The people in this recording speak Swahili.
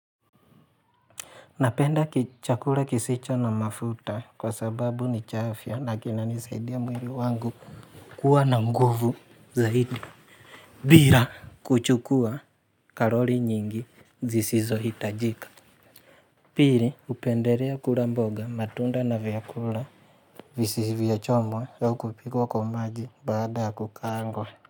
Napenda kichakura kisicho na mafuta kwa sababu ni cha afya na kinanisaidia mwili wangu kuwa na nguvu zaidi. Bira kuchukua karoli nyingi zisizohitajika. Pili hupenderea kura mboga matunda na vyakula visivyochomwa ya ukupikuwa kwa maji bada kukaangwa.